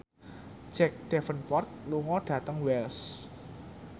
Jack Davenport lunga dhateng Wells